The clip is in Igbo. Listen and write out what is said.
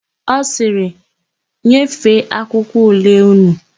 Ọ sịrị, "nyefeenụ akwụkwọ ule ụnụ"!